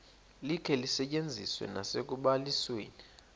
likhe lisetyenziswe nasekubalisweni